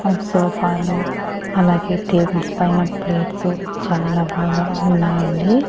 ఆ సోఫాలు అలాగే టేబుల్స్ పైన ప్లేట్స్ చాలా బాగా ఉన్నాయండి.